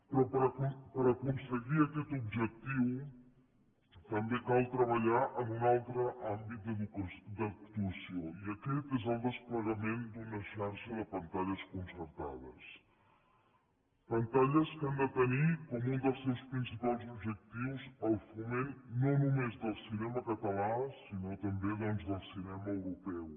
però per aconseguir aquest objectiu també cal treballar en un altre àmbit d’actuació i aquest és el desplegament d’una xarxa de pantalles concertades pantalles que han de tenir com un dels seus principals objectius el foment no només del cinema català sinó també doncs del cinema europeu